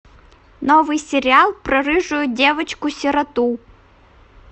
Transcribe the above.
новый сериал про рыжую девочку сироту